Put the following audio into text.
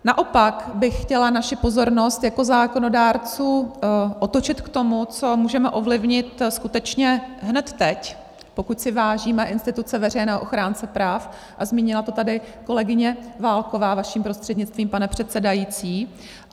Naopak bych chtěla naši pozornost jako zákonodárců otočit k tomu, co můžeme ovlivnit skutečně hned teď, pokud si vážíme instituce veřejného ochránce práv, a zmínila to tady kolegyně Válková, vaším prostřednictvím, pane předsedající.